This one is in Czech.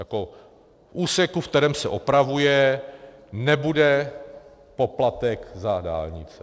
V úseku, ve kterém se opravuje, nebude poplatek za dálnice.